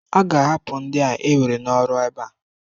A ga-ahapụ ndia ewere n'ọrụ ebe a?